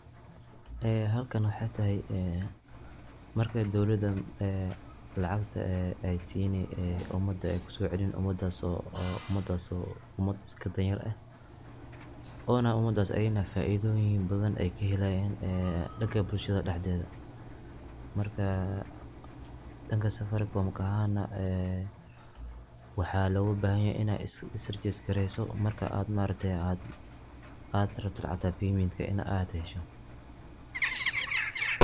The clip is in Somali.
halkan wexey tahy, marka dowladan ee lacagta ee siini umada eey kusocelin umadas oo danyar, oona umadas ee faidoyin badhan kahelayan ee danka bulshada daxdeda markaa aa danka safaricom ka ahan wxa loga bahayahy inaad iis ragister gareyso aad rabto lacagta payment inaad hesho